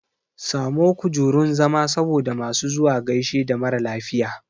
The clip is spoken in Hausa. Samo kujurun zama saboda masu zuwa gaishe da maralafiya